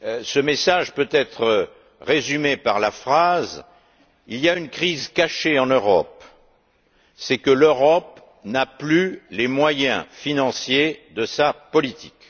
Ce message peut être résumé comme suit Il y a une crise cachée en Europe, c'est que l'Europe n'a plus les moyens financiers de sa politique.